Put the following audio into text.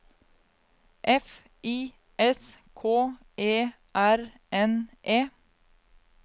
F I S K E R N E